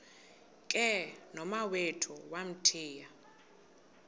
ke nomawethu wamthiya